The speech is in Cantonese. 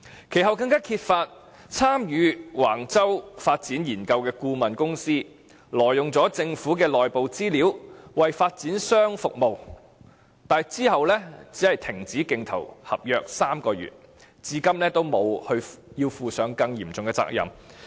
其後，更揭發參與橫洲發展研究的顧問公司挪用了政府的內部資料為發展商服務，但之後只是被罰停止競投政府合約3個月，至今也沒有負上更嚴重的責任。